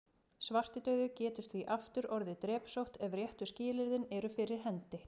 Svartidauði getur því aftur orðið að drepsótt ef réttu skilyrðin eru fyrir hendi.